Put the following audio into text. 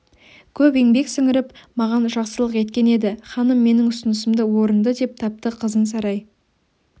көп еңбек сіңіріп маған жақсылық еткен еді ханым менің ұсынысымды орынды деп тапты қызын сарай